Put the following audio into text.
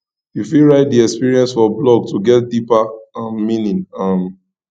you fit write di experience for blog to get deeper um meaning um